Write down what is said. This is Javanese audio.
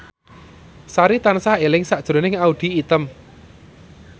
Sari tansah eling sakjroning Audy Item